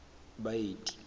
baeti